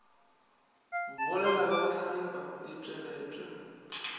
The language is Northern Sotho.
bolela le go hlagipa ditpweletpwa